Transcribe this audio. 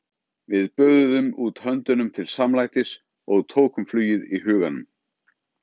Við böðuðum út höndum til samlætis- og tókum flugið í huganum.